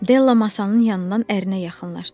Della masanın yanından ərinə yaxınlaşdı.